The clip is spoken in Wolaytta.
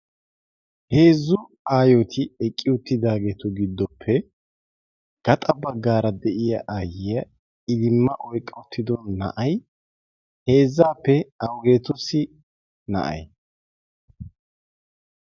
heezzu aayooti eqqi uttidaageetu giddoppe gaxa baggaara de'iya ayyiya idimma oyqqaw uttido na'ay heezzaappe awugeetussi na'ay